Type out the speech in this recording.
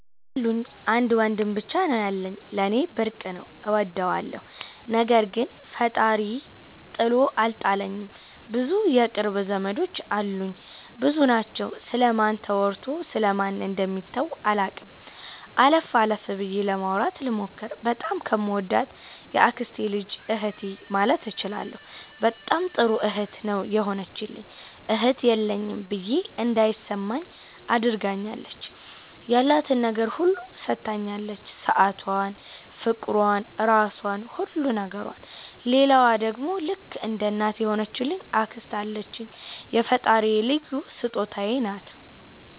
አሉኝ። አንድ ወንድም ብቻ ነው ያለኝ። ለኔ ብርቅ ነው እወደዋለሁ። ነገር ግን ፈጣሪ ጥሎ አልጣለኝም ብዙ የቅርብ ዘመዶች አሉኝ። ብዙ ናቸው ስለ ማን ተወርቶ ስለ ማን ደሚተው አላቅም። አለፍ አለፍ ብዬ ለማውራት ልሞክር። በጣም ከምወዳት የአክስቴ ልጅ እህቴ ማለት እችላለሁ በጣም ጥሩ እህት ነው የሆነችልኝ እህት የለኝም ብዬ እንዳይማኝ አድርጋኛለች። ያላትን ነገር ሁሉ ሠታኛለች ሠአቷን ፍቅሯን ራሧን ሁሉ ነገሯን። ሌላዋ ደሞ ልክ እንደ እናት የሆነች አክስት አለችኝ የፈጣሪ ልዩ ሥጦታዬ ናት።